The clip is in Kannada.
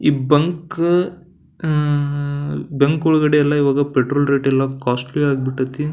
ಈ ಬಂಕ್ ಈ ಬಂಕ್ ಒಳ್ಗಡೆ ಎಲ್ಲ ಈವಾಗ ಪೆಟೋಲ್ ರೇಟೆಲ್ಲ ಕೊಸ್ಟ್ಲಿ ಆಗ್ ಬಿಟ್ಟೈತಿ.